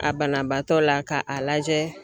A banabaatɔ la k'a lajɛ